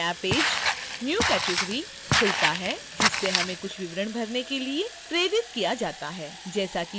एक नया page new category खुलता है जिससे हमें कुछ विवरण भरने के लिए प्रेरित किया जाता है